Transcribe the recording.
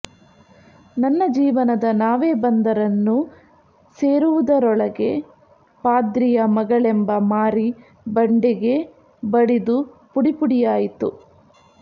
ನನ್ನ ಜೀವನದ ನಾವೆ ಬಂದರನ್ನು ಸೇರುವುದರೊಳಗೆ ಪಾದ್ರಿಯ ಮಗಳೆಂಬ ಮಾರಿ ಬಂಡೆಗೆ ಬಡಿದು ಪುಡಿಪುಡಿಯಾಯಿತು